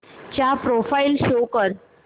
चा profile show कर